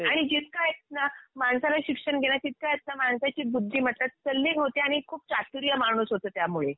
आणि जितकं आहेत ना माणसाला शिक्षण घेण्याची आहेत ना माणसाची बुद्धिमत्ता तल्लीन होते आणि खूप चातुर्य माणूस होतो त्यामुळे